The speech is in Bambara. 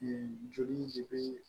joli de be